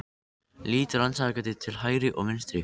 Lít rannsakandi til hægri og vinstri.